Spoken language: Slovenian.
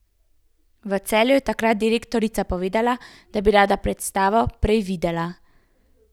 V Celju je takrat direktorica povedala, da bi rada predstavo prej videla.